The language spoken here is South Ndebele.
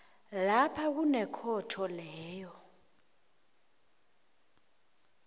lapha kunekhotho leyo